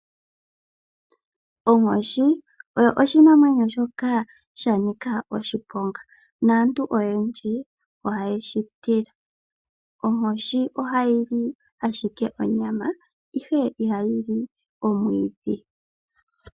Onkoshi oyo oshinamwenyo shoka sha nika oshiponga, naantu oyendji ohaye shi tila. Onkoshi ohayi li ashike onyama, ihe ihayi li omwiidhi.